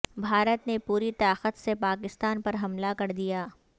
بھارت نے پوری طاقت سے پاکستان پر حملہ کردیا